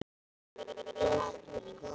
Einfalt og gott.